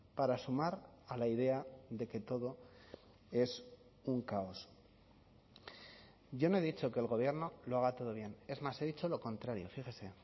para sumar a la idea de que todo es un caos yo no he dicho que el gobierno lo haga todo bien es más he dicho lo contrario fíjese